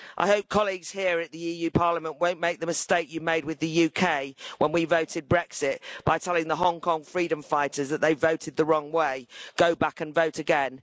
I hope colleagues here at Parliament won't make the mistake you made with the UK when we voted Brexit by telling the Hong Kong freedom fighters that they voted the wrong way, go back and vote again.